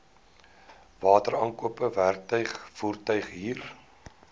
wateraankope werktuig voertuighuur